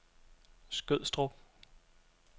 Skødstrup